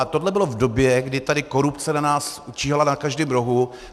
A tohle bylo v době, kdy tady korupce na nás číhala na každém rohu.